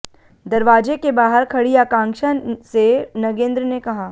दरवाजे के बाहर खड़ी आकांक्षा से नगेंद्र ने कहा